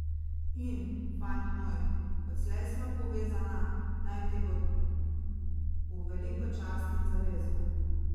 In, fant moj, odslej sva povezana, naj ti bo v veliko čast in zavezo.